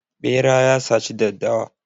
Ɓera ya saci daddawa.